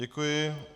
Děkuji.